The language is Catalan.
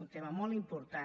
un tema molt important